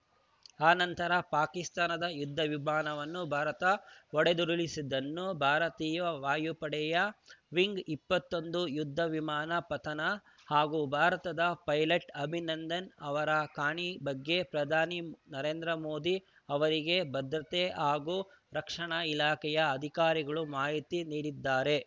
ಆ ನಂತರ ಪಾಕಿಸ್ತಾನದ ಯುದ್ಧ ವಿಮಾನವನ್ನು ಭಾರತ ಹೊಡೆದುರುಳಿಸಿದ್ದು ಭಾರತೀಯ ವಾಯುಪಡೆಯ ಮಿಗ್‌ ಇಪ್ಪತ್ತೊಂದು ಯುದ್ಧ ವಿಮಾನ ಪತನ ಹಾಗೂ ಭಾರತದ ಪೈಲಟ್‌ ಅಭಿನಂದನ್‌ ಅವರ ಕಾಣೆ ಬಗ್ಗೆ ಪ್ರಧಾನಿ ನರೇಂದ್ರ ಮೋದಿ ಅವರಿಗೆ ಭದ್ರತೆ ಹಾಗೂ ರಕ್ಷಣಾ ಇಲಾಖೆಯ ಅಧಿಕಾರಿಗಳು ಮಾಹಿತಿ ನೀಡಿದ್ದಾರೆ